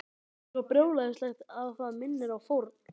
Þetta er svo brjálæðislegt að það minnir á fórn.